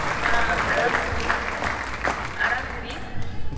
ಆ ಆರಾಮ್ ಇದಿರಿ?